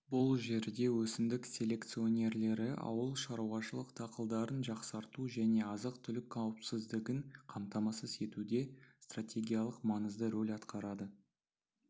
бұл жерде өсімдік селекционерлері ауыл шаруашылық дақылдарын жақсарту және азық-түлік қауіпсіздігін қамтамасыз етуде стратегиялық маңызды рөл атқарады